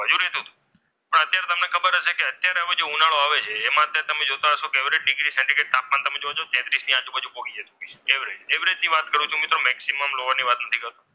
અત્યારે જો ઉનાળો આવે છે એમાં તમે જોતા હશો કે એવરેજ ડિગ્રી સેન્ટિગ્રેડ તાપમાન તમે જોજો તેત્રીસ ની આજુબાજુ પહોંચી જશે. ને એવરેજ, એવરેજ ની વાત કરું તો મિત્રો મેક્સિમમ લોવર ની વાત નથી કરતો.